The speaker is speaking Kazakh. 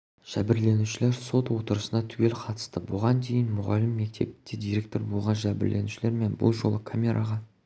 жәбірленушілер сот отырысына түгел қатысты бұған дейін мұғалім мектепте директор болған жәбірленушілер бұл жолы камераға